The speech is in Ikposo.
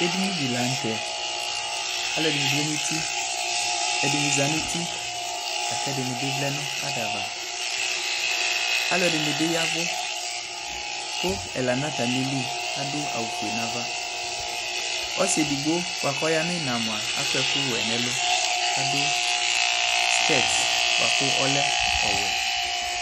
Ɛdene de lantɛ Aluɛde ne vlɛ no uti, ɛdene zati no uti la ko ɛdene vlɛ no adava Aluɛde ne be yavu ko ɛla na atame li ado awufue nava Ɔse edigbo boako aya no ina moa akɔ ɛkuwɛ nɛlu ka do skɛt boako ɔlɛ ɔwɛ